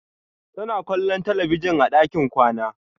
Tana kwallon talabijin a ɗakin kwana.